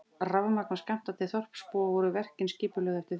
Rafmagn var skammtað til þorpsbúa og voru verkin skipulögð eftir því.